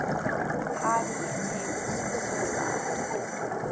heidi attempts suicide